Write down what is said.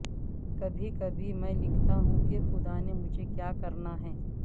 کبھی کبھی میں لکھتا ہوں کہ خدا نے مجھے کیا کرنا ہے